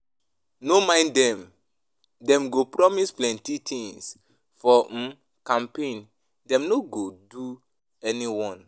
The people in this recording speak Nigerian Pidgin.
No mind dem, dem go promise plenty tins for um campaign, dem no go do anyone.